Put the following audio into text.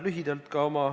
Lugupeetud minister!